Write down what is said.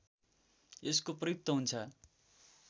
यसको प्रयुक्त हुन्छ